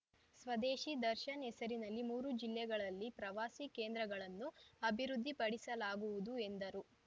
ಸ್ವದೇಶಿ ದರ್ಶನ್‌ ಹೆಸರಿನಲ್ಲಿ ಮೂರು ಜಿಲ್ಲೆಗಳಲ್ಲಿ ಪ್ರವಾಸಿ ಕೇಂದ್ರಗಳನ್ನು ಅಭಿವೃದ್ಧಿಪಡಿಸಲಾಗುವುದು ಎಂದರು